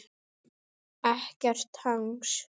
Ekkert hangs!